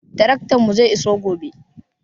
Taraktanmu zai iso gobe.